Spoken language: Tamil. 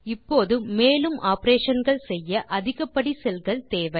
இப்போது மேலும் operationகள் செய்ய அதிகப்படி செல் கள் தேவை